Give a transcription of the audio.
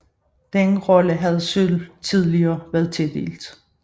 Den rolle havde sølv tidligere været tildelt